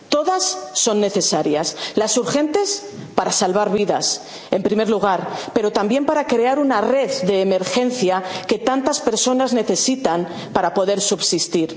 plazo. Todas son necesarias las urgentes para salvar vidas, en primer lugar, pero también para crear una red de emergencia que tantas personas necesitan para poder